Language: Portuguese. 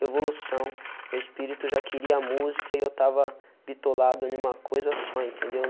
Revolução, meu espírito já queria a música e eu estava bitolado em uma coisa só, entendeu?